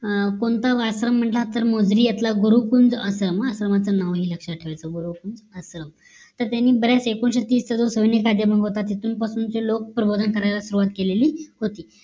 कोणता आश्रम म्हणतात तर मोजरी इथला गुरुकुंड आश्रम आश्रमाचा नाव हे लक्ष्यात ठेवायचं गुरूकुंड आश्रम. तर त्यांनी बऱ्याचं एकोणीशे तीस चा जो सैनिक होता तिथून पासून ते लोक प्रबोधन करायला सुरुवात केलेली होती